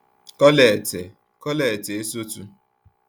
Colette Colette Esotu